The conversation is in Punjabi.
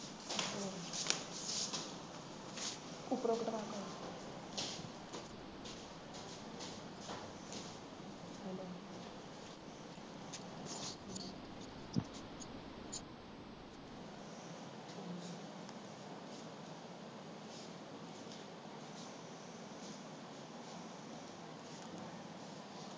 ਉਪਰੋਂ ਕਟਵਾ ਕੇ